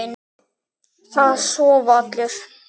Það sofa allir.